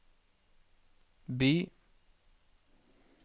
by